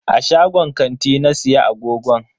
A shagon kanti na siya agogon.